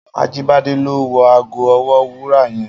Ajibade lò wò àgó òwò wúrà yèn